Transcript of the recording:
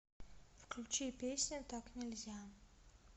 включи песня так нельзя